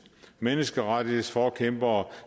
menneskerettighedsforkæmpere